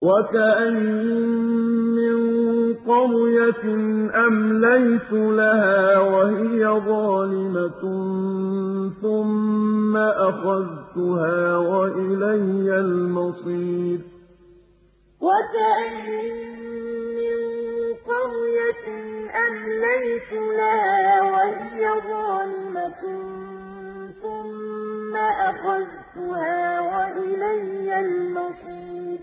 وَكَأَيِّن مِّن قَرْيَةٍ أَمْلَيْتُ لَهَا وَهِيَ ظَالِمَةٌ ثُمَّ أَخَذْتُهَا وَإِلَيَّ الْمَصِيرُ وَكَأَيِّن مِّن قَرْيَةٍ أَمْلَيْتُ لَهَا وَهِيَ ظَالِمَةٌ ثُمَّ أَخَذْتُهَا وَإِلَيَّ الْمَصِيرُ